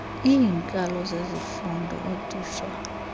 iinkalo zezifundo ootitshala